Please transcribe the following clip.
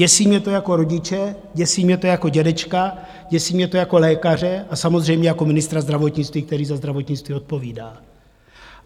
Děsí mě to jako rodiče, děsí mě to jako dědečka, děsí mě to jako lékaře a samozřejmě jako ministra zdravotnictví, který za zdravotnictví odpovídá.